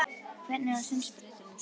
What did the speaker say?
Hvernig var sundspretturinn?